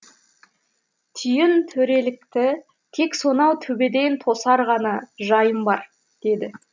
түйін төрелікті тек сонау төбеден тосар ғана жайым бар деді